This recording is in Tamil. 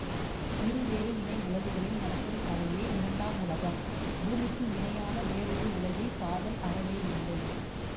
இருவேறு இணை உலகுகளில் நடக்கும் கதையே இரண்டாம் உலகம் பூமிக்கு இணையான வேறொரு உலகில் காதல் அறவே இல்லை